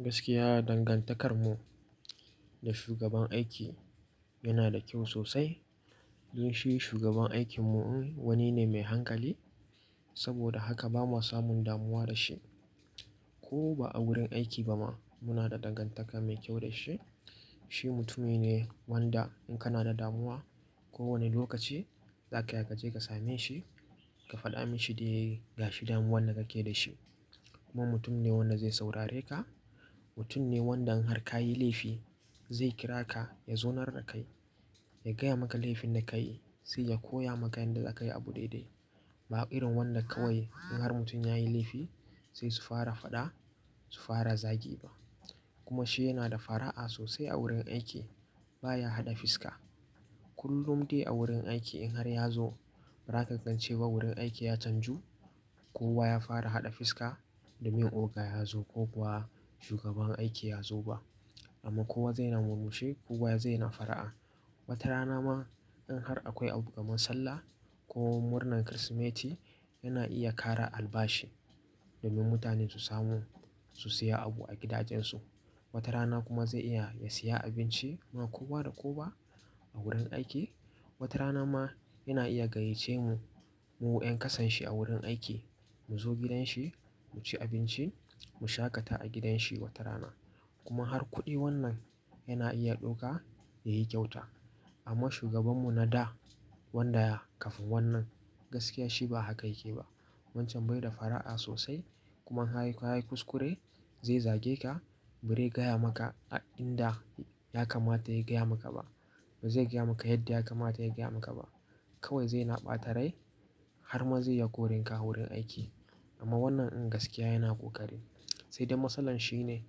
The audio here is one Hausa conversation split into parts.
Gaskiya dangantakar mu da shugaban aiki yana da kyau sosai. Don shi shugaban aikin mu wani ne mai hankali. Saboda haka ba ma samun damuwa da shi ko ba a wurin aiki ba ma muna da dangantaka mai kyau da shi. Shi mutumi ne wanda in kana da damuwa ko wani lokaci za ka iya ka je ka same shi, ka faɗa mashi dai gashi damuwan da kake da shi. Kuma mutum ne wanda zai saurare ka. Mutum ne wanda in har ka yi laifi zai kira ka ya zaunar da kai, ya gaya maka laifin da ka yi sai ya koya maka yanda za ka yi abu daidai. Ba irin wanda kawai in har mutum ya yi laifi sai su fara faɗa su fara zagi ba. Kuma shi yana da fara'a sosai a wurin aiki. Ba ya haɗa fiska. Kullum dai a wurin aiki in har ya zo ba za ka gan shi ba wurin aiki ya canju ko kowa ya fara haɗa fiska domin oga ya zo ko kuwa shugaban aiki ya zo ba. Amma ko zai na murmushi kowa zai na fara'a. Wata rana ma in har akwai abu-kaman sallah ko murnan Kirsimeti yana iya ƙara albashi domin mutane su samu su siya abu a gidajen su. Wata rana kuma zai iya ya siya abinci ma kowa da kowa a wurin aiki. Wata rana ma yana iya gayyace mu, mu 'yan ƙasan shi a wurin aiki mu zo gidan shi mu ci abinci, mu sha ƙata a gidan shi wata rana. Kuma har kuɗi wannan yana iya ɗauka ya yi kyauta. Amma shugaban mu na da wanda ya kafin wannan gaskiya shi ba haka yake ba. Wancan bai da fara'a sosai kuma in har ka yi kuskure zai zage ka, bazai gaya maka a inda ya kamata ya gaya maka ba. Bai zai gaya maka yadda ya kamata ya gaya maka ba. Kawai zai na ɓata rai har ma zai iya koran ka a wurin aiki. Amma wannan in gaskiya yana ƙoƙari. Sai dai matsalar shi ne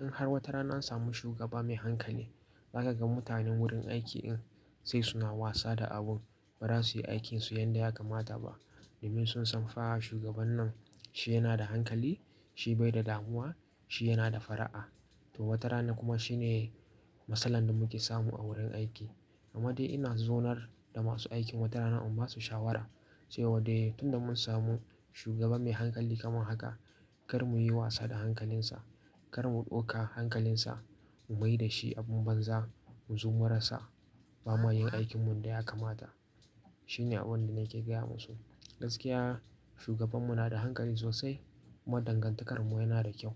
in har wata rana an samu shugaba mai hankali, za ka ga mutanen wurin aiki ɗin sai suna wasa da abun. Ba za su yi aikin su yanda ya kamata ba domin sun san fa shugaban nan shi yana da hankali, shi bai da damuwa, shi yana da fara'a. To wata rana kuma shi ne matsalar da muke samu a wurin aiki. Amma dai ina zonar da masu aikin wata rana in ba su shawara, cewa dai tun da mun samu shugaba mai hankali kamar haka kar muyi wasa da hankalin sa. Kar mu ɗauka hankalin sa, mu mai da shi abin banza, mu zo mura sa ba ma yin aikin mu yanda ya kamata. Shi ne abin da nake gaya masu. Gaskiya shugaban mu na da hankali sosai kuma dangantakar mu yana da kyau.